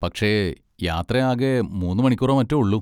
പക്ഷെ യാത്ര ആകെ മൂന്ന് മണിക്കൂറോ മറ്റോ ഒള്ളൂ.